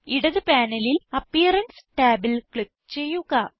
ഇടത് പാനലിൽ അപ്പിയറൻസ് ടാബിൽ ക്ലിക്ക് ചെയ്യുക